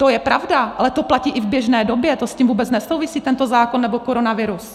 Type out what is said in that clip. To je pravda, ale to platí i v běžné době, to s tím vůbec nesouvisí, tento zákon nebo koronavirus.